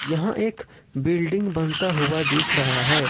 यहां एक बिल्डिंग बनता हुआ दिख रहा है।